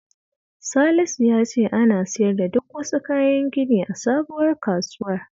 Salisu ya ce ana siyar da duk wasu kayan gini a sabuwar kasuwar